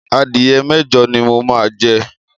Adìyẹ mẹ́jọ ni mo máa jẹ.